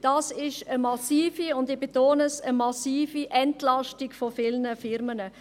Dies ist eine massive – und ich betone dies: eine massive – Entlastung von vielen Unternehmen.